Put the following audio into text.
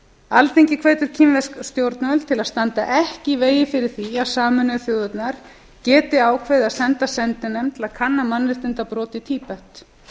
alþingi hvetur kínversk stjórnvöld til að standa ekki í vegi fyrir því að sameinuðu þjóðirnar geti ákveðið að senda sendinefnd til að kanna mannréttindabrot í tíbet